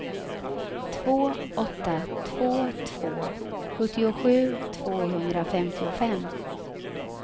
två åtta två två sjuttiosju tvåhundrafemtiofem